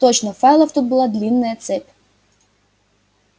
точно файлов тут была длинная цепь